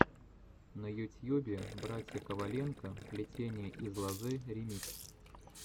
на ютьюбе братья коваленко плетение из лозы ремикс